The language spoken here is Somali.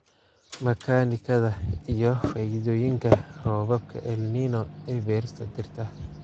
Makaanikada iyo faa'iidooyinka roobabka El Niño ee beerista dhirta.